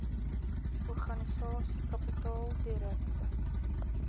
organisasie kapitaal direkte